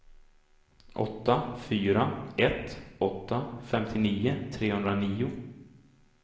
åtta fyra ett åtta femtionio trehundranio